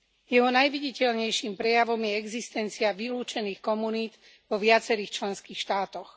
Jeho najviditeľnejším prejavom je existencia vylúčených komunít vo viacerých členských štátoch.